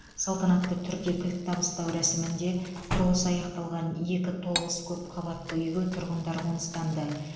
салтанатты түрде кілт табыстау рәсімінде құрылысы аяқталған екі тоғыз көп қабатты үйге тұрғындар қоныстанды